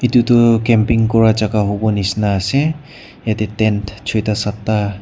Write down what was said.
etu tu camping kora jagah hobo nisna ase jatte tank soita satta.